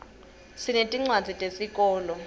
sinetincwadzi tesikolo